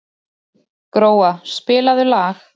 Gróa, spilaðu lag.